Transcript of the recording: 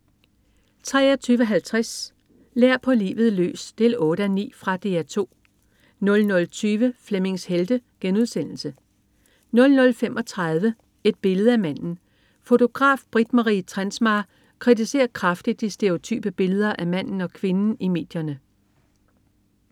23.50 Lær på livet løs 8:9. Fra DR 2 00.20 Flemmings Helte* 00.35 Et billede af manden. Fotograf Britt Marie Trensmar kritiserer kraftigt de stereotype billeder af manden og kvinden i medierne